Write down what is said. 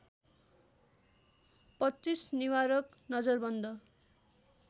२५ निवारक नजरबन्द